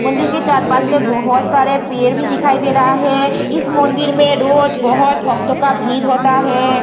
मंदिर के चार पांच में बहोत सारे पेड़ भी दिखाई दे रहा है इस मांदिर में रोज बहुत भक्तो का भीड़ होता है।